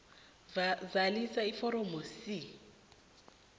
zalisa iforomo c